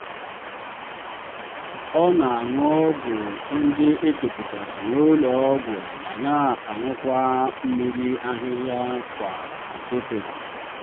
ọ na-aṅụ ọgwụ ndị e depụtara n'ụlọ ọgwụ ma na-aṅụkwa mmiri ahịhịa kwa ụtụtụ.